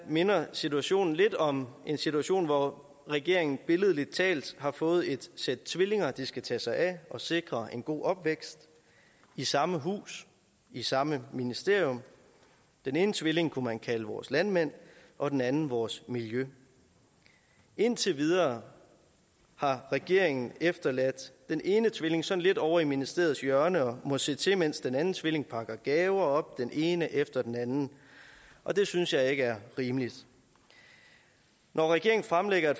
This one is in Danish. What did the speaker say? minder situationen lidt om en situation hvor regeringen billedligt talt har fået et sæt tvillinger de skal tage sig af og sikre en god opvækst i samme hus i samme ministerium den ene tvilling kunne man kalde vores landmænd og den anden vores miljø indtil videre har regeringen efterladt den ene tvilling sådan lidt ovre i ministeriets hjørne og må se til mens den anden tvilling pakker gaver op den ene efter den anden og det synes jeg ikke er rimeligt når regeringen fremlægger